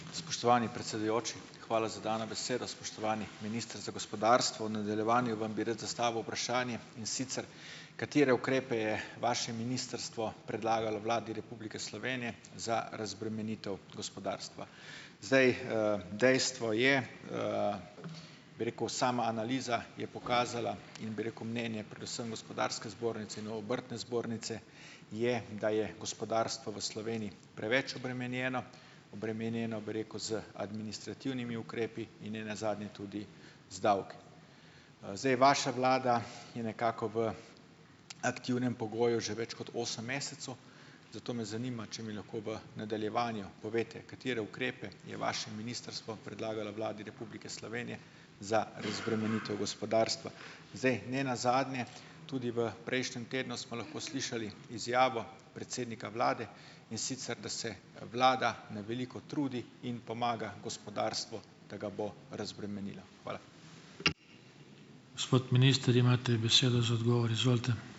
Spoštovani predsedujoči, hvala za dano besedo. Spoštovani minister za gospodarstvo, v nadaljevanju vam bi rad zastavil vprašanje, in sicer, katere ukrepe je vaše ministrstvo predlagalo Vladi Republike Slovenije za razbremenitev gospodarstva? Zdaj, dejstvo je, bi rekel, sama analiza je pokazala in, bi rekel, mnenje predvsem gospodarske zbornice in obrtne zbornice je, da je gospodarstvo v Sloveniji preveč obremenjeno, obremenjeno, bi rekel, z administrativnimi ukrepi in ne nazadnje tudi z davki. Zdaj, vaša vlada je nekako v aktivnem pogoju že več kot osem mesecev, zato me zanima, če mi lahko v nadaljevanju poveste, katere ukrepe je vaše ministrstvo predlagalo Vladi Republike Slovenije za razbremenitev gospodarstva. Zdaj, ne nazadnje tudi v prejšnjem tednu smo lahko slišali izjavo predsednika vlade, in sicer, da se vlada na veliko trudi in pomaga gospodarstvu, da ga bo razbremenila. Hvala.